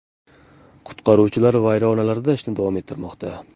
Qutqaruvchilar vayronalarda ishni davom ettirmoqda.